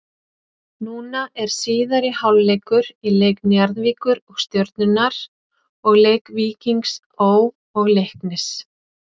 Núna er síðari hálfleikur í leik Njarðvíkur og Stjörnunnar og leik Víkings Ó. og Leiknis.